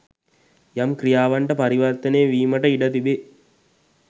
යම් ක්‍රියාවන්ට පරිවර්තනය වීමට ඉඩ තිබේ.